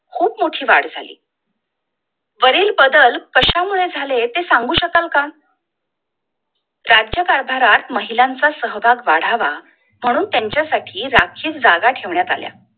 खूप मोठी वाढ झाली वरील बदल कश्या मुळे झाले ते सांगू शकाल का? राज्यकारभारात महिलांचा सहभाग वाढावा म्हणून त्यांच्यासाठी राखीव जागा ठेवण्यात आली होती